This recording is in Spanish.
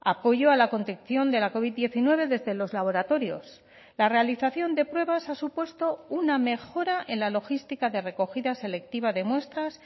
apoyo a la contención de la covid diecinueve desde los laboratorios la realización de pruebas ha supuesto una mejora en la logística de recogida selectiva de muestras